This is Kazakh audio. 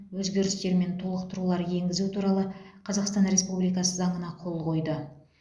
өзгерістер мен толықтырулар енгізу туралы қазақстан республикасы заңына қол қойды